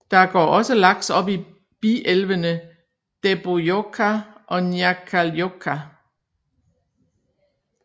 Der går også laks op i bielvene Dæbbojohka og Njáhkájohka